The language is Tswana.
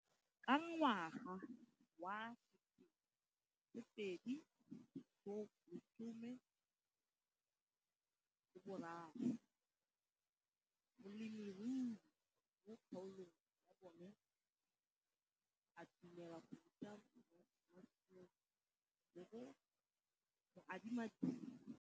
Ka ngwaga wa 2013, molemirui mo kgaolong ya bona o ne a dumela go ruta Mansfield le go mo adima di heketara di le 12 tsa naga.